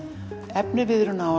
efniviðurinn á